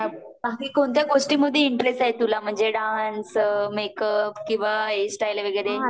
बाकी कोणत्या गोष्टीमध्ये इंटरेस्ट आहे तुला म्हणजे डान्स Filler मेकअप किंवा हेअरस्टाईल वगैरे